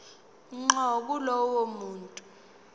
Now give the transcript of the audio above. ngqo kulowo muntu